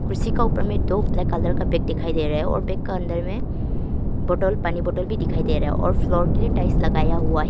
कुर्सी का ऊपर में दो ब्लैक कलर का बैग दिखाई दे रहा है और बैग का अंदर में बोतल पानी बोतल भी दिखाई दे रहा है और फ्लोर के भी टाइल्स लगाया हुआ है।